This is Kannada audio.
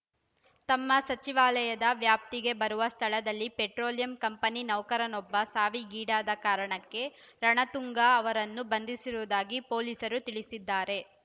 ತಮ್ಮ ಸಚಿವಾಲಯದ ವ್ಯಾಪ್ತಿಗೆ ಬರುವ ಸ್ಥಳದಲ್ಲಿ ಪೆಟ್ರೋಲಿಯಂ ಕಂಪನಿ ನೌಕರನೊಬ್ಬ ಸಾವಿಗೀಡಾದ ಕಾರಣಕ್ಕೆ ರಣತುಂಗ ಅವರನ್ನು ಬಂಧಿಸಿರುವುದಾಗಿ ಪೊಲೀಸರು ತಿಳಿಸಿದ್ದಾರೆ